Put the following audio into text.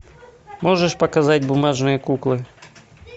можешь показать бумажные куклы